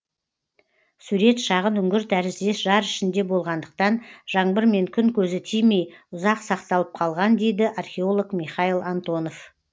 сурет шағын үңгір тәріздес жар ішінде болғандықтан жаңбыр мен күн көзі тимей ұзақ сақталып қалған дейді археолог михайл антонов